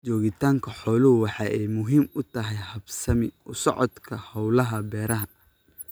Joogitaanka xooluhu waxa ay muhiim u tahay habsami u socodka hawlaha beeraha.